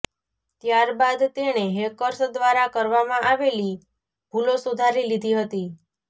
ત્યાર બાદ તેણે હેકર્સ દ્વારા કરવામાં આવેલી ભૂલો સુધારી લીધી હતી